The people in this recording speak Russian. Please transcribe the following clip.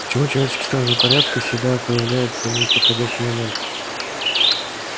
почему человеческие стражи порядка всегда появляются не в подходящий момент